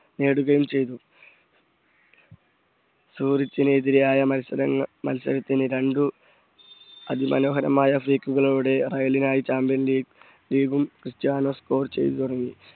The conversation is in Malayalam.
നേടുകയും ചെയ്തു സുരച്ചിന് എതിരെയായ മത്സരങ്ങ മത്സരത്തിന് രണ്ടു അതിമനോഹരമായ freak കളോട് റെയലിനായി ചാമ്പ്യൻ ലീഗ് ലീഗും ക്രിസ്ത്യാനോ score ചെയ്തു തുടങ്ങി.